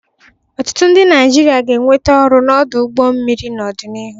Ọtụtụ ndị Naịjirịa ga-enweta ọrụ n'ọdụ ụgbọ mmiri n'ọdịnihu.